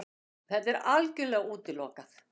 Það er algjörlega útilokað!